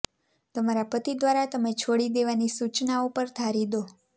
તમારા પતિ દ્વારા તમે છોડી દેવાની સૂચનાઓ પર ધારી દો